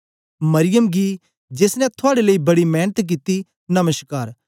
मरियम गी जेस ने थुआड़े लेई बड़ी मेंनत कित्ती नमश्कार